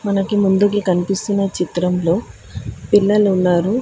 నాకు ముందుకి కనిపిస్తున్నాయి చిత్రంలో పిల్లలు ఉన్నారు.